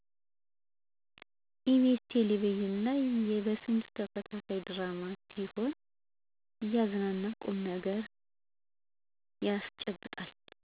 ኢ.ቢ.ስ ቴለቪዥን ላይ የበስንቱ ተከታታይ ድራማ ሲሆን እያዝናና ቁምነገር ያስጨብጣል።